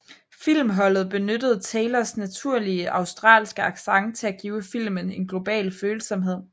Filmholdet benyttede Taylors naturlige australske accent til at give filmen en global følsomhed